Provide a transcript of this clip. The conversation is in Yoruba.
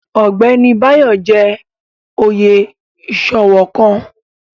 Ọgbẹni Bayo jẹ́ oyè iṣowo kan